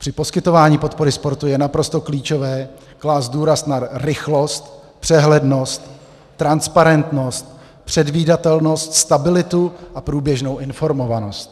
Při poskytování podpory sportu je naprosto klíčové klást důraz na rychlost, přehlednost, transparentnost, předvídatelnost, stabilitu a průběžnou informovanost.